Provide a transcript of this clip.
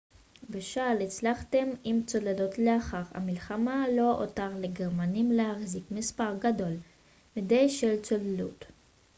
בשל הצלחתם עם צוללות לאחר המלחמה לא הותר לגרמנים להחזיק מספר גדול מדי של צוללות